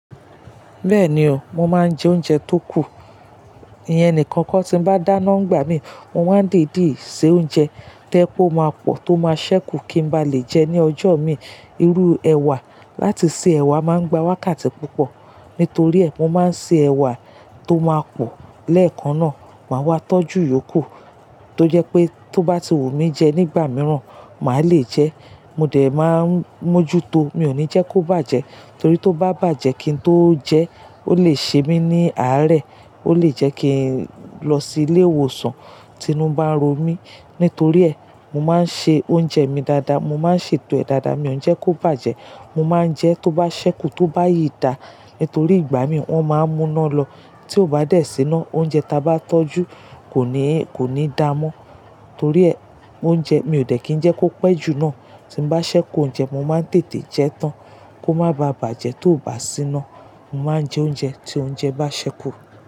Bẹ́ẹ̀ni o, mo máa ń jẹ oúnjẹ tó kù. Ìyẹn nìkan kó tí bá dáná ń gbà mí, mo máa ń dèdíì ṣe oúnjẹ toje pe máa pọ̀ tó máa sẹ́kù kí n bá lè jẹ ẹ́ ní ọjọ́ mi. Irú ẹwà láti ṣe ẹwà máa ń gba wákàtí púpọ̀. Nítorí ẹ, mo máa ń ṣe ẹwà tó máa pọ̀ lẹ́ẹ̀kan náà. Màá wá tọ́jú yòókù tó jẹ́ pé tó bá ti wù mí jẹ nígbà mìíràn, màá le jẹ ẹ́. Mo dẹ̀ máa ń mójú to, mi ò ní jẹ́ kó bàjẹ́. Torí tó bá bàjẹ́ kí n tó jẹ ẹ́, ó lè ṣe mí ní àárẹ̀, ó lè jẹ́ kí n lọ sí ilé ìwòsàn tí inú bá ń ro mí. Nítorí ẹ, mo máa ń ṣe oúnjẹ mi dáadáa, mo máa ń sè tọ́ ẹ dáadáa, mi ò ní jẹ́ kó bàjẹ́. Mo máa ń jẹ ẹ́ tó bá sẹ́kù tó bá yìí dà. Nítorí ìgbà mí wọ́n máa ń mú iná lọ. Tí ó bá dé sí iná, oúnjẹ ta bá tọ́jú kò ní, kò ní dà mọ́. Torí ẹ, oúnjẹ mi ò dẹ̀ kí ń jẹ́ kó pẹ́ jù náà. Tí n bá ṣẹ́kù oúnjẹ, mo máa ń tètè jẹ ẹ́ tán kó má baà bàjẹ́ tó bá sí iná. Mo máa ń jẹ oúnjẹ tí oúnjẹ bá ṣẹ́kù.